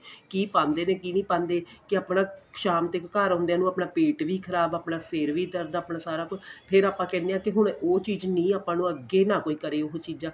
ਕੀ ਪਾਂਦੇ ਕੀ ਨਹੀਂ ਪਾਂਦੇ ਕੇ ਆਪਣਾ ਸ਼ਾਮ ਤੱਕ ਘਰ ਆਉਦਿਆਂ ਨੂੰ ਆਪਣਾ ਪੇਟ ਵੀ ਖ਼ਰਾਬ ਆਪਣਾਂ ਸਿਰ ਵੀ ਦਰਦ ਆਪਣਾ ਸਾਰਾ ਕੁੱਝ ਫ਼ੇਰ ਆਪਾਂ ਕਹਿਣੇ ਹਾਂ ਹੁਣ ਉਹ ਚੀਜ ਨਹੀਂ ਆਪਾਂ ਨੂੰ ਅੱਗੇ ਨਾ ਕਰੇ ਉਹ ਚੀਜਾਂ